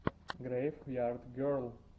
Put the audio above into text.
грейв ярд герл